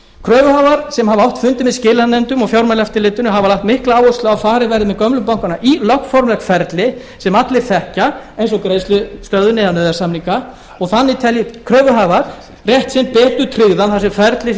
kröfuhafar sem hafa átt fundi með skilanefndum og fjármálaeftirlitinu hafa lagt mikla áherslu á að farið verði með gömlu bankana í lögformlegt ferli sem allir þekkja eins og greiðslustöðvun eða nauðasamninga og þannig telji kröfuhafar rétt sinn betur tryggðan þar sem ferlið sé